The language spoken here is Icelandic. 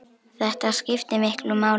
Þetta skiptir miklu máli.